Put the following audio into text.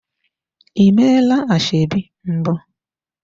Ị meela ashebi mbụ?